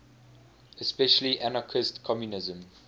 especially anarchist communism